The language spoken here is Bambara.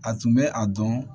A tun bɛ a dɔn